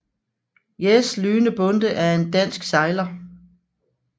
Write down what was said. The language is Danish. Jes Lyhne Bonde er en dansk sejler